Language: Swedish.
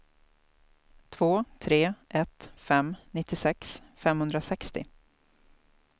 två tre ett fem nittiosex femhundrasextio